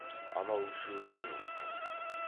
анау үшеуі үн қатқан жоқ